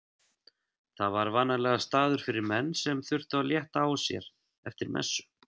Það var vanalegur staður fyrir menn sem þurftu að létta á sér eftir messu.